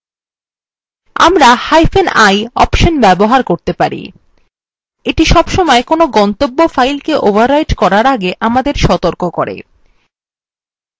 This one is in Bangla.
আমরাi interactive অপশন ব্যবহার করতে পারি এইটি সবসময় কোনো গন্তব্য file কে overwriting করার আগে আমাদের সতর্ক করে